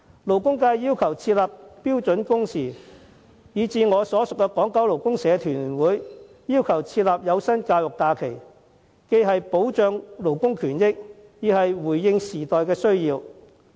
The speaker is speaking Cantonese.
勞工界要求設立標準工時制度；我所屬的港九勞工社團聯會亦要求設立有薪教育假期，這既可保障勞工權益，亦回應時代的需要。